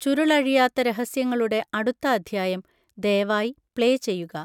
ചുരുളഴിയാത്ത രഹസ്യങ്ങളുടെ അടുത്ത അദ്ധ്യായം ദയവായി പ്ലേ ചെയ്യുക